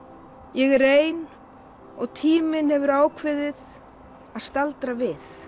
ég er ein og tíminn hefur ákveðið að staldra við